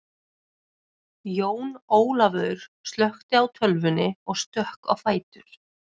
Jón Ólafaur slökkti á tölvunni og stökk á fætur.